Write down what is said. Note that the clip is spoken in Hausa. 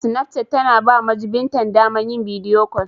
Sinapchat ta na ba majubintan ta daman yin bidiyo kol.